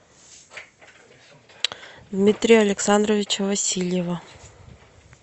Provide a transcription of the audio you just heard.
дмитрия александровича васильева